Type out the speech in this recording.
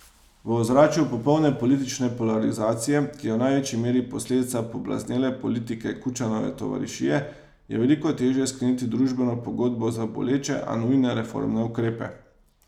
V ozračju popolne politične polarizacije, ki je v največji meri posledica poblaznele politike Kučanove tovarišije, je veliko težje skleniti družbeno pogodbo za boleče, a nujne reformne ukrepe.